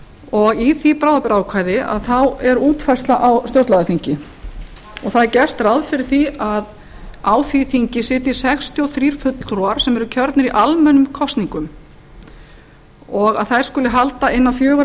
og í því bráðabirgðaákvæði er útfærsla á stjórnlagaþingi það er gert ráð fyrir því að á því þingi sitji sextíu og þrír fulltrúar sem eru kjörnir í almennum kosningum og þær skuli halda innan fjögurra